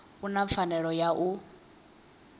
u na pfanelo ya u